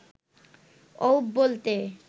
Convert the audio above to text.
অউব বলতে